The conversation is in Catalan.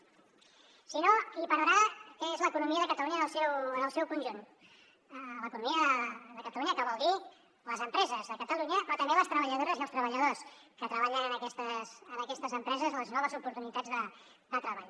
si no qui hi perdrà és l’economia de catalunya en el seu conjunt l’economia de catalunya que vol dir les empreses de catalunya però també les treballadores i els treballadors que treballen en aquestes empreses les noves oportunitats de treball